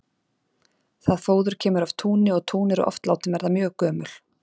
Það fóður kemur af túni og tún eru oft látin verða mjög gömul.